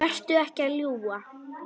Vertu ekki að ljúga!